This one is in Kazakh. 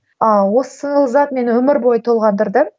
ыыы осы зат мені өмір бойы толғандырды